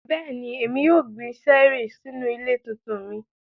Bẹ́ẹ̀ni, Emi yóò gbin ṣẹẹri sinu ile tuntun mi.